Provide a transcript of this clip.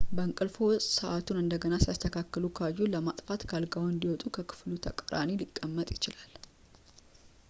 በእንቅልፍዎ ውስጥ ሰዓቱን እንደገና ሲያስተካክሉ ካዩ ፣ ለማጥፋትት ከአልጋዎ እንዲወጡ በክፍሉ ተቃራኒ ሊቀመጥ ይችላል